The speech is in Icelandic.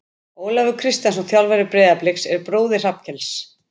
Ólafur Kristjánsson þjálfari Breiðabliks er bróðir Hrafnkels.